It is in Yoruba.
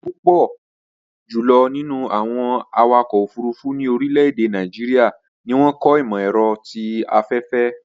Púpọ̀ jùlọ̀ nínú àwọn awakọ̀ òfurufú ní orílẹ̀-èdè Nàìjíríà ni wọ́n kọ́ ìmọ̀-ẹ̀rọ ti afẹ́fẹ́